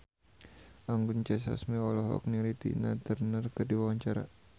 Anggun C. Sasmi olohok ningali Tina Turner keur diwawancara